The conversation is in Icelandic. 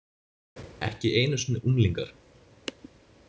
Ekki einu sinni unglingar.